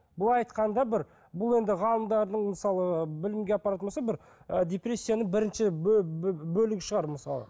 былай айтқанда бір бұл енді ғалымдардың мысалы білімге апаратын болса бір ы депрессияның бірінші бөлігі шығар мысалы